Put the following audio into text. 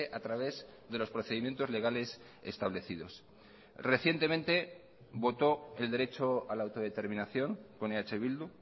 a través de los procedimientos legales establecidos recientemente votó el derecho a la autodeterminación con eh bildu